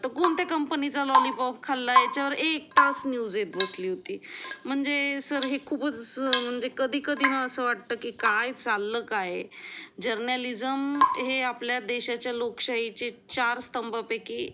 तो कोणते कंपनीचा लॉलीपॉप खाल्ला ह्याचावर एक तास न्यूज येत बसली होती म्हणजे सर ही खूपच म्हणजे कधी कधी असं वाटतं की काय चालला काय आहे जर्नालिझम हे आपल्या देशाच्या लोकशाहीचे चार स्तंभ पैकी